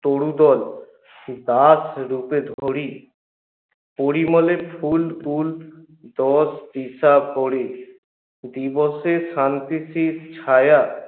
তরুদল দাস রুপে ধরি পরিমলে ফুল ফুল দিবসে শান্তির এই ছায়া